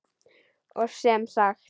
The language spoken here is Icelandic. Og sem sagt!